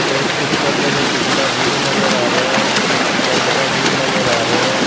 ਇਸ ਪਿੱਚਰ ਦੇ ਵਿੱਚ ਜਿਹੜਾ ਵਿਊ ਨਜ਼ਰ ਆ ਰਿਹੈ ਇੱਕ ਪਿੰਡ ਦਾ ਵਿਊ ਨਜ਼ਰ ਆ ਰਿਹੈ।